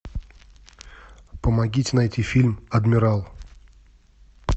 помогите найти фильм адмирал